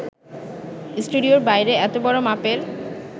স্টুডিওর বাইরে এত বড় মাপের